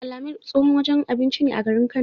Al-amir tsohon wajen abinci ne a garin Kano.